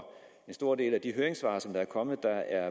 en stor del af de høringssvar som er kommet der